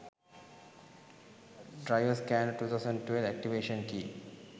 driver scanner 2012 activation key